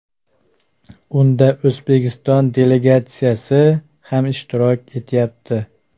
Unda O‘zbekiston delegatsiyasi ham ishtirok etyapti.